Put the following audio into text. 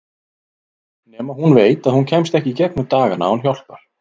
Nema hún veit að hún kemst ekki í gegnum dagana án hjálpar.